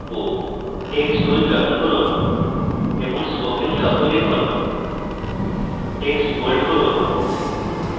text tool চয়ন করুন এবং spoken শব্দ লিখুন text bold করুন